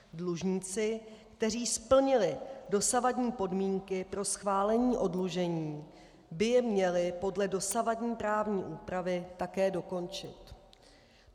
Dlužníci, kteří splnili dosavadní podmínky pro schválení oddlužení, by je měli podle dosavadní právní úpravy také dokončit.